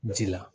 Ji la